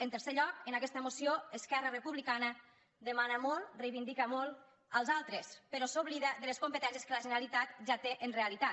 en tercer lloc en aquesta moció esquerra republicana demana molt reivindica molt als altres però s’oblida de les competències que la generalitat ja té en realitat